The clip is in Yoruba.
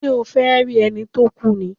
Ṣé o fẹ́ rí ẹni tó kú ni?